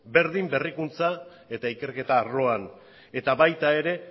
berdin berrikuntza eta ikerketa arloan eta baita ere